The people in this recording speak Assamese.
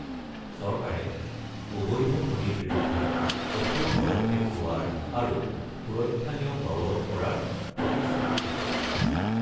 চৰকাৰে অবৈধ খনিৰ বিৰুদ্ধে কঠোৰ পদক্ষেপ লোৱাৰ আৰু সুৰক্ষা নিয়ম বলৱৎ কৰাৰ প্ৰতিশ্ৰুতি দিছে।